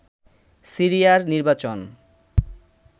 সিরিয়ার নির্বাচন